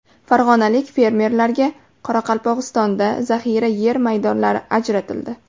Farg‘onalik fermerlarga Qoraqalpog‘istonda zaxira yer maydonlari ajratildi.